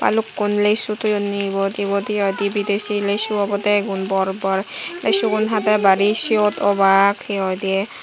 balukkun lesu toyounni ebot hehoi di bidesi lesu obode egun bor bor lesugun hade bari seyot obak he hoidi.